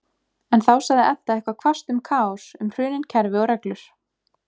En þá sagði Edda eitthvað hvasst um kaos, um hrunin kerfi og reglur-